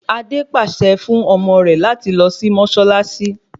Adé pàṣẹ fún ọmọ rẹ láti lọ sí mọ́ṣáláṣí